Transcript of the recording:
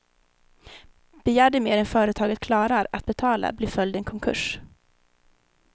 Begär de mer än företaget klarar att betala blir följden konkurs.